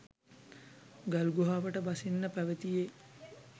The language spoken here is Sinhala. ගල්ගුහාවට බසින්න පැවතියේ